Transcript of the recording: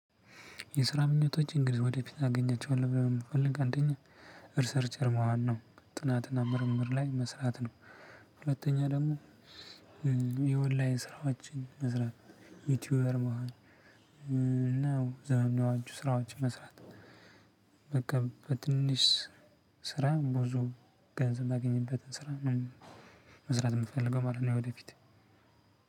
የስራ ምኞቶች እንግዲህ ወደ ፊት አገኛቸዋለው ብለህ ነው? የምትፈልግ አንደኛ ሪሰርቸር መሆን ነው ጥናትና ምርምር ላይ መስራት ነው። ሁለተኛ ደግሞ የኦንላይን ስራዎችን መስራት ዩቲዩበር መሆን። ነው ዘመናዊ ስራዎች መስራት። በቃ በትንሽ ስራ ብዙ ገንዘብ የማገኝበት ስራ መስራት የምፈልገው ማለት ነው። ወደፊት